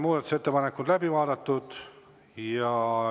Muudatusettepanekud on läbi vaadatud.